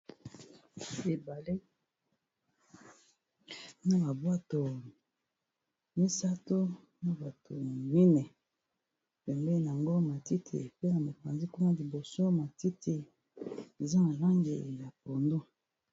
Awa namoni balakisi biso eza Ebale na bavbwato misatu na bato mine bembe yango matiti pe na mekanzi nkuna liboso matiti eza na lange ya pondu